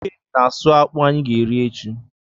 Ike na-asụ akpụ anyị ga-eri echi.